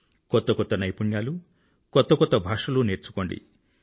కొత్త కొత్త నైపుణ్యాలు కొత్త కొత్త భాషలు నేర్చుకోండి